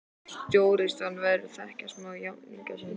Stórstjarna verður að þekkja smekk jafningja sinna.